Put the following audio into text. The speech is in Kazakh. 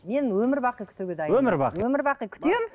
мен өмір бақи күтуге өмір бақи өмір бақи күтемін